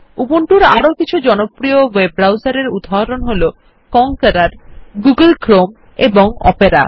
উবুন্তুর আরো কিছু জনপ্রিয় ওয়েব ব্রাউসার এর উদাহরণ হল কনকোয়েরোর গুগল ক্রোম এবং ওপেরা